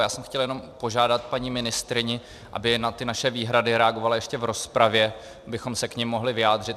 Já jsem chtěl jenom požádat paní ministryni, aby na ty naše výhrady reagovala ještě v rozpravě, abychom se k nim mohli vyjádřit.